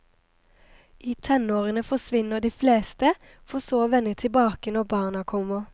I tenårene forsvinner de fleste, for så å vende tilbake når barna kommer.